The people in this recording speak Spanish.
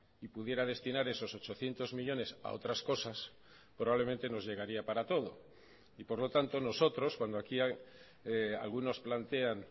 y pudiera destinar esos ochocientos millónes a otras cosas probablemente nos llegaría para todo y por lo tanto nosotros cuando aquí algunos plantean